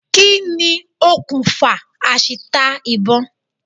Kí ni okùnfà àṣìta ìbọn?